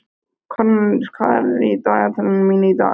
Kornelíus, hvað er á dagatalinu mínu í dag?